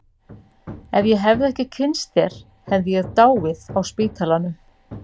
Ef ég hefði ekki kynnst þér hefði ég dáið á spítalanum.